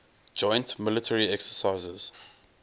joint military exercises